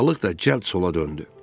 Balıq da cəld sola döndü.